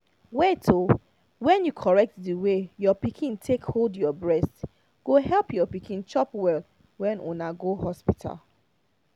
wait oh when you correct the way your pikin take hold your breast go help your pikin chop well when una go hospital